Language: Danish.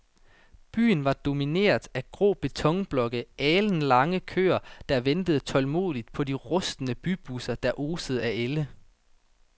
Byen var domineret af grå betonblokke og alenlange køer, der ventede tålmodigt på de rustne bybusser, der osede af ælde.